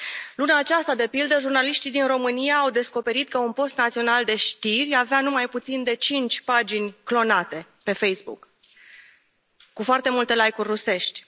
Luna aceasta, de pildă, jurnaliștii din România au descoperit că un post național de știri avea nu mai puțin de cinci pagini clonate pe Facebook, cu foarte multe like uri rusești.